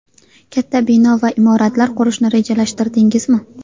Katta bino va imoratlar qurishni rejalashtirdingizmi?